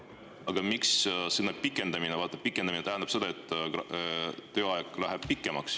Aga sõna "pikendamine" tähendab seda, et tööaeg läheb pikemaks.